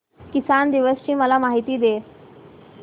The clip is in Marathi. किसान दिवस ची मला माहिती दे